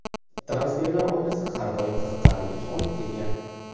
Transferlar oynasi har doim qiziqarli tus olib kelgan.